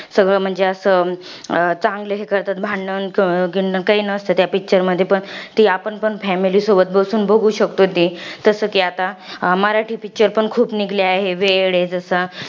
सगळं म्हणजे असं, चांगलं हे करतात. भांडण क काही नसतं त्या picture मध्ये. ती आपण पण family सोबत बसून बघू शकतो ती. तसं कि आता, मराठी picture पण खूप निघले आहे. वेड आहे जसं.